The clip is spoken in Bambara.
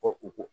Ko u ko